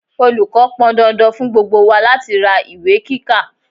Olùkọ́ pọn dandan fún gbogbo wa láti ra ìwé kíkà.